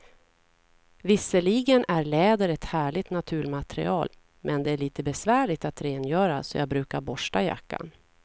Visserligen är läder ett härligt naturmaterial, men det är lite besvärligt att rengöra, så jag brukar borsta jackan.